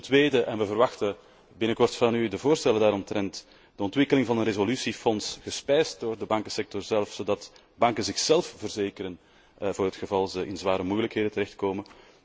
Ten tweede en wij verwachten binnenkort van u de voorstellen daaromtrent de ontwikkeling van een resolutiefonds gespijsd door de bankensector zelf, zodat banken zichzelf verzekeren voor het geval zij in zware moeilijkheden terechtkomen.